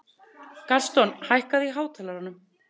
Gaston, hækkaðu í hátalaranum.